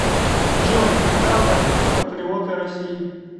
джой когда возник патриоты россии